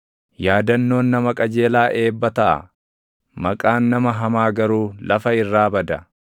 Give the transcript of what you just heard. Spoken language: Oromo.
Yaadannoon nama qajeelaa eebba taʼa; maqaan nama hamaa garuu lafa irraa bada.